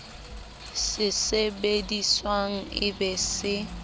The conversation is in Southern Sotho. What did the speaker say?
se sebediswang e be se